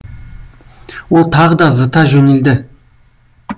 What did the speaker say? ол тағы да зыта жөнелді